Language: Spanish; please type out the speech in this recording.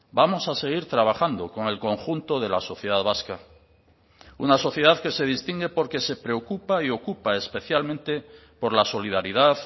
vamos a seguir trabajando con el conjunto de la sociedad vasca una sociedad que se distingue porque se preocupa y ocupa especialmente por la solidaridad